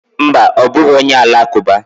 Mba, ọ bụghị onye Alakụba.